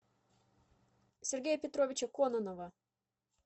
сергея петровича кононова